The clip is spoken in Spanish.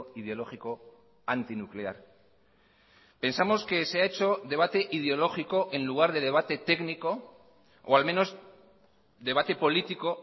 ideológico antinuclear pensamos que se ha hecho debate ideológico en lugar de debate técnico o al menos debate político